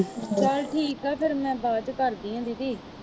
ਚੱਲ ਠੀਕ ਆ ਫਿਰ ਮੈਂ ਬਾਅਦ ਚ ਕਰਦੀ ਹਾਂ ਦੀਦੀ।